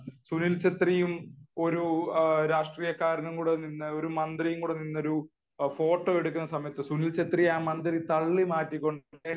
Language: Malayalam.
സുനിൽ ഛത്രിയും ഒരു മന്ത്രിയും ഒരു ഫോട്ടോ എടുക്കുന്ന സമയത് സുനിൽ ഛത്രിയെ ഒരു മന്ത്രി തള്ളി മാറ്റിക്കൊണ്ട്